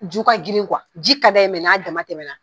Ju ka grin kuwa, ji ka d'a ye mɛ n'a dama tɛmɛna